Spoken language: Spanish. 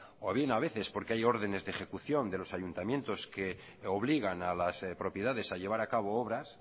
o bien a veces porque hay ordenes de ejecución de los ayuntamientos que obligan a las propiedades a llevar a cabo obras